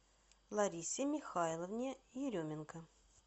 ларисе михайловне еременко